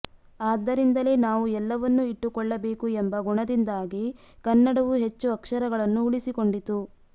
ಆದ್ದರಿಂದಲೇ ನಾವು ಎಲ್ಲವನ್ನೂ ಇಟ್ಟುಕೊಳ್ಳಬೇಕು ಎಂಬ ಗುಣದಿಂದಾಗಿ ಕನ್ನಡವು ಹೆಚ್ಚು ಅಕ್ಷರಗಳನ್ನು ಉಳಿಸಿಕೊಂಡಿತು